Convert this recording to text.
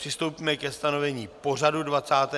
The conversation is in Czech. Přistoupíme ke stanovení pořadu 29. schůze.